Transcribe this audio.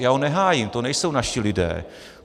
A já ho nehájím, to nejsou naši lidé.